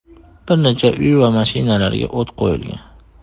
Bir necha uy va mashinalarga o‘t qo‘yilgan.